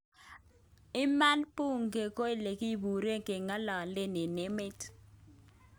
Iman bunge ko ilekipuren kengalalen en met ak